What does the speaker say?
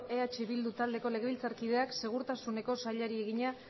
eh bildu taldeko legebiltzarkideak segurtasuneko sailburuari egina